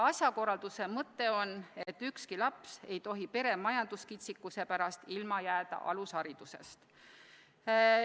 Asjakorralduse mõte on, et ükski laps ei tohi pere majanduskitsikuse pärast ilma jääda alusharidusest.